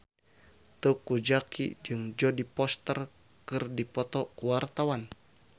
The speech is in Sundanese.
Teuku Zacky jeung Jodie Foster keur dipoto ku wartawan